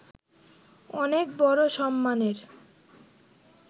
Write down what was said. অনেক বড় সম্মানের